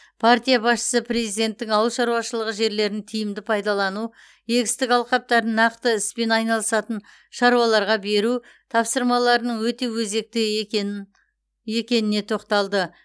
партия басшысы президенттің ауыл шаруашылығы жерлерін тиімді пайдалану егістік алқаптарын нақты іспен айналысатын шаруаларға беру тапсырмаларының өте өзекті екенін екеніне тоқталды